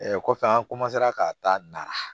kɔfɛ an ka taa nara